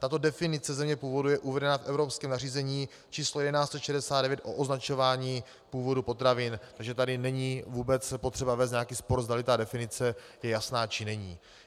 Tato definice země původu je uvedena v evropském nařízení č. 1169 o označování původu potravin, takže tady není vůbec potřeba vést nějaký spor, zdali ta definice je jasná, či není.